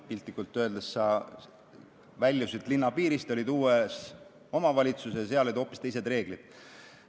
Piltlikult öeldes, sa väljusid linna piirist ja olid uues omavalitsuses, kus olid hoopis teised reeglid.